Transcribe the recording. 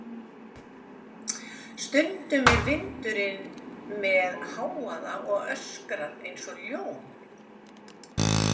Stundum er vindurinn með hávaða og öskrar eins og ljón.